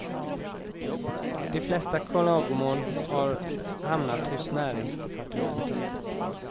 De flesta klagomål har hamnat hos näringsdepartementet.